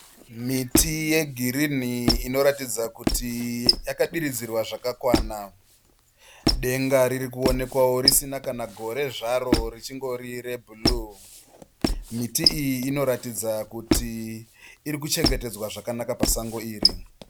Miti yegirini inoratidza kuti yaka diridzirwa zvakakwana, denga riri kuonekwawo risina kana gore zvaro richingori rebhuruu. Miti iyi inoratidza kuti irikuchengetedzwa zvakanaka pasango iri.